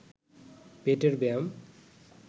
পেটের ব্যায়াম